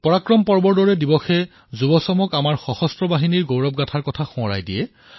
পৰাক্ৰম পৰ্বৰ দৰে দিৱসে তৰুণ প্ৰজন্মক আমাৰ সশস্ত্ৰ বাহিনীৰ গৌৰৱপূৰ্ণ ঐতিহ্য সোঁৱৰণ কৰায়